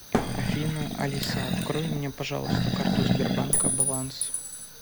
афина алиса открой мне пожалуйста карту сбербанка баланс